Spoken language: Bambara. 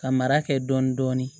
Ka mara kɛ dɔɔni dɔɔni